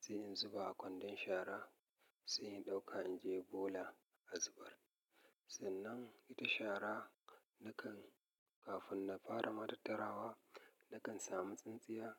sai in zuba a kwandon shara sai in ɗauka in je bola a zubar. Sannan ita shara nakan, kafin na fara ma tattarawa, nakan samu tsintsiya.